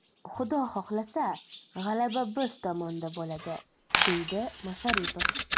Xudo xohlasa, g‘alaba biz tomonda bo‘ladi”,deydi Masharipov.